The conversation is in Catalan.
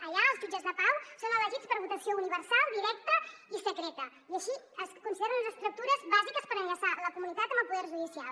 allà els jutges de pau són elegits per votació universal directa i secreta i així es consideren unes estructures bàsiques per enllaçar la comunitat amb el poder judicial